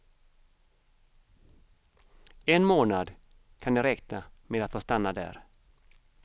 En månad kan de räkna med att få stanna där.